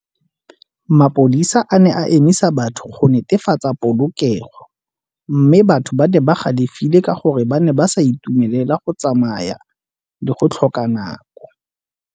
Mapodisa a ne a emisa batho go netefatsa polokego mme batho ba di ba ne ba galefile ka gore ba ne ba sa itumelela go tsamaya le go tlhoka nako.